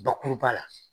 Bakuruba la